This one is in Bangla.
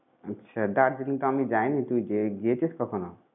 আচ্ছা! দার্জিলিংতো আমি যাইনি। তুই গিয়ে~গিয়েছিস কখনো?